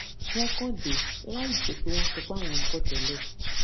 wón kàn dé láìjé pé wón sọ pé àwọn ń bò tẹlẹ